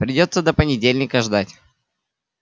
придётся до понедельника ждать